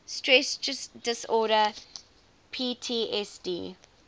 stress disorder ptsd